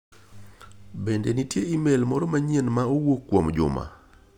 Bende nitie imel moro manyien ma owuok kuom Juma?